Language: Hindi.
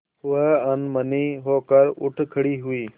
वह अनमनी होकर उठ खड़ी हुई